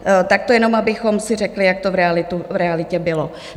Tak to jenom abychom si řekli, jak to v realitě bylo.